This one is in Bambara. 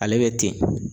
Ale bɛ ten